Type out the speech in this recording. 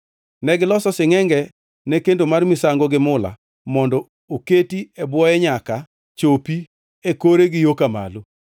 Negiloso singʼenge ne kendo mar misango gi mula mondo oketi e bwoye nyaka chopi e kore gi yo ka malo